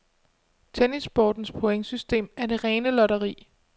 Tennissportens pointsystem er det rene lotteri.